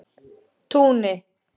Túni